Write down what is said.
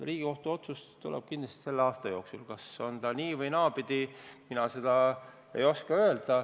Riigikohtu otsus tuleb kindlasti selle aasta jooksul – on ta nii- või naasugune, mina seda öelda ei oska.